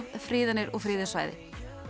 friðanir og friðuð svæði